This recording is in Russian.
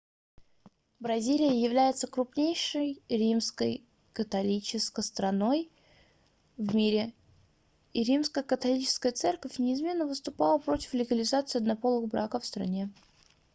бразилия является крупнейшей римско-католической страной в мире и римско-католическая церковь неизменно выступала против легализации однополых браков в стране